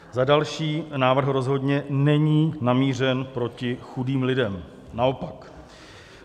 Za další, návrh rozhodně není namířen proti chudým lidem, naopak.